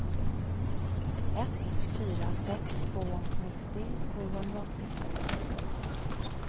ett fyra sex två nittio sjuhundraåttiofem